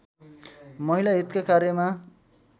महिला हितका कार्यमा